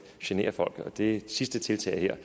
generer folk det sidste tiltag her